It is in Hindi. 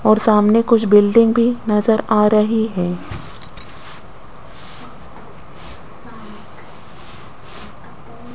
और सामने कुछ बिल्डिंग भी नजर आ रही है।